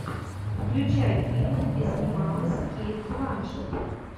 включай фильмы где снималась кейт бланшетт